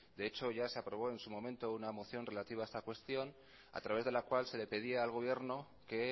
de hecho ya se aprobó en su momento una moción relativa a esta cuestión a través de la cual se le pedía al gobierno que